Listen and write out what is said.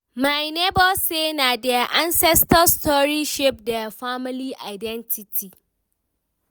my nebor say na their ancestors stories shape their family identity